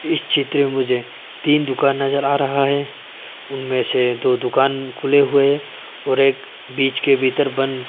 इस चित्र में मुझे तीन दुकान नजर आ रहा है उनमें से दो दुकान खुले हुए हैं और एक बीच के भीतर बन्द --